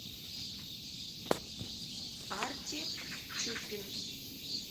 арти чупин